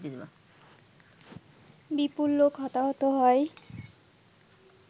বিপুল লোক হতাহত হয়